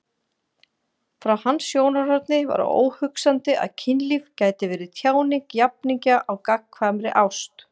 Frá hans sjónarhorni var óhugsandi að kynlíf gæti verið tjáning jafningja á gagnkvæmri ást.